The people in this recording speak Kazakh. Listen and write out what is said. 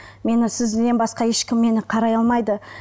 мені сізден басқа ешкім мені қарай алмайды